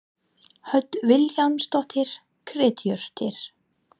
Hödd Vilhjálmsdóttir: Kryddjurtir?